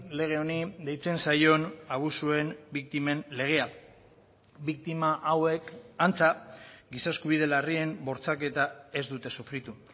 lege honi deitzen zaion abusuen biktimen legea biktima hauek antza giza eskubide larrien bortxaketa ez dute sufritu